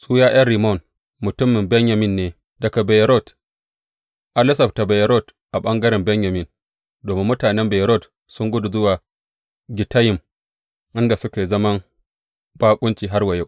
Su ’ya’yan Rimmon mutumin Benyamin ne daga Beyerot, an lissafta Beyerot a ɓangaren Benyamin, domin mutanen Beyerot sun gudu zuwa Gittayim inda suke zaman baƙunci har wa yau.